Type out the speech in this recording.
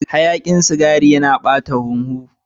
Hayakin sigari yana ɓata huhu.